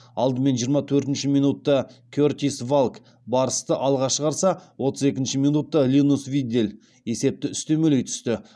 алдымен жиырма төртінші минутта кертис валк барысты алға шығарса отыз екінші минутта линус виддель есепті үстемелей түсті